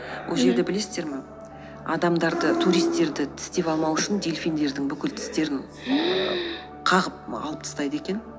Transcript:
ол жерді білесіздер ме адамдарды туристерді тістеп алмау үшін дельфиндердің бүкіл тістерін қағып алып тыстайды екен